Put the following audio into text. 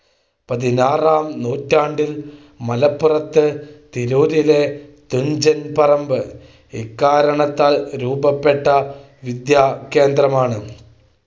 പതിനാറാം നൂറ്റാണ്ടിൽ മലപ്പുറത്ത്, തിരൂരിലെ തുഞ്ചൻപറമ്പ് ഇക്കാരണത്താൽ രൂപപ്പെട്ട വിദ്യാകേന്ദ്രമാണ്.